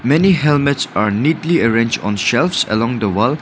many helmets are neatly arrange on shelves along the wall.